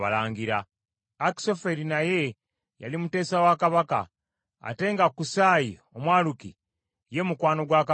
Akisoferi naye yali muteesa wa kabaka, ate nga Kusaayi Omwaluki ye mukwano gwa kabaka nnyo.